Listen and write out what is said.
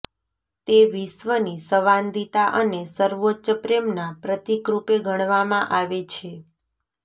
તે વિશ્વની સંવાદિતા અને સર્વોચ્ચ પ્રેમના પ્રતીકરૂપે ગણવામાં આવે છે